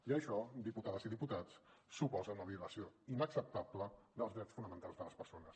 i això diputades i diputats suposa una violació inacceptable dels drets fonamentals de les persones